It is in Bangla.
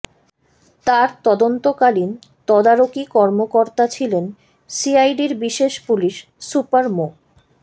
তার তদন্তকালীন তদারকি কর্মকর্তা ছিলেন সিআইডির বিশেষ পুলিশ সুপার মো